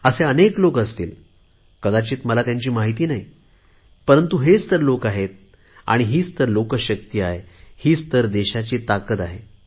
असे अनेक लोक असतील कदाचित मला त्यांची माहिती नाही परंतु हेच तर लोक आहेत हीच तर लोक शक्ती आहे हीच तर ताकद आहे